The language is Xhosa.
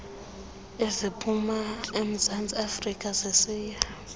eziphuma emzantsiafrika zisiya